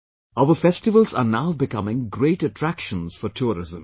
Our festivals are now becoming great attractions for tourism